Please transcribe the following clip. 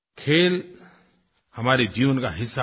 खेल हमारे जीवन का हिस्सा बने